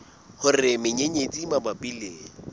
hore menyenyetsi e mabapi le